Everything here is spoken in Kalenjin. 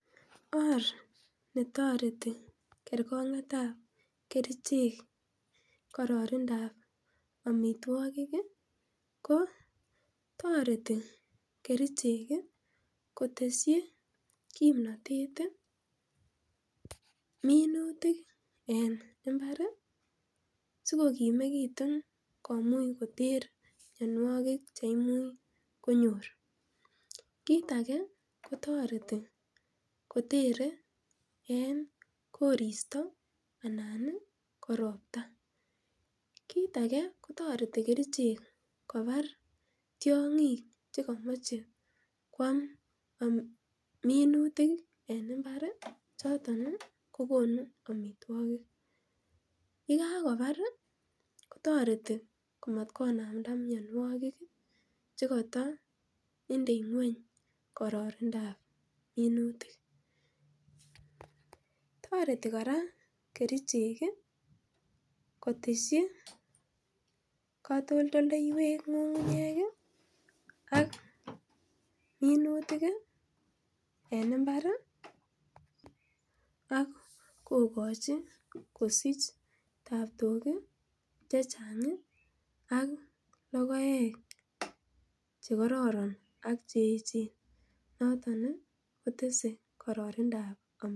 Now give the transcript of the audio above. Or netoreti kerkong'etab kerichek, ko kararanindab kerichek ko tareti kerichek ih koteshi kimnatet ih minutik en imbar ih siko kimegitu komuch koter mianiuek cheimuch konyor kit age kotareti kotere en korista anan ih ko robta . Tareti kerichek kobar tiang'ik chakamache koam minutik en imbar ih , anan kokonu amituakik. Yekakobar kotareti komat konamnda mianogig chekato indei ng'uany kararanindab minutik tareti kora kerichek koteshi katoltolleywek ng'ung'ungnyek ih ak minutik en imbar akokachi ak kogchi kosich ak lokoek ak kotese karannindab .